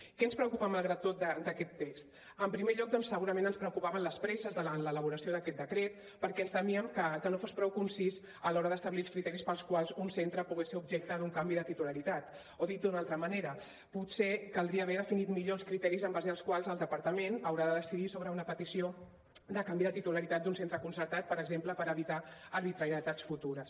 què ens preocupa malgrat tot d’aquest text en primer lloc doncs segurament ens preocupaven les presses davant l’elaboració d’aquest decret perquè ens temíem que no fos prou concís a l’hora d’establir els criteris pels quals un centre pogués ser objecte d’un canvi de titularitat o dit d’una altra manera potser caldria haver definit millor els criteris en base als quals el departament haurà de decidir sobre una petició de canvi de titularitat d’un centre concertat per exemple per evitar arbitrarietats futures